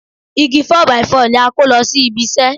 Igi 4 by 4 ni a kó lọ sí ibi iṣẹ́